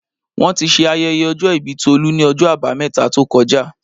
Wọ́n ti ṣe ayẹyẹ ọjọ́ ìbí Tolu ni ọjọ́ abameta tó kọjá